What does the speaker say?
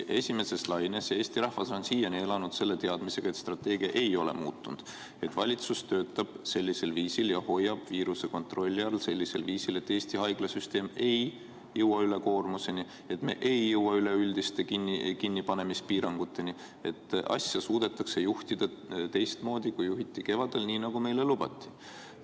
Eesti rahvas on siiani elanud teadmisega, et strateegia ei ole muutunud, et valitsus töötab ja hoiab viiruse kontrolli all sellisel viisil, et Eesti haiglasüsteem ei jõua ülekoormuseni, et me ei jõua üleüldiste kinnipanemispiiranguteni, et asja suudetakse juhtida teistmoodi, kui juhiti kevadel, nii nagu meile lubati.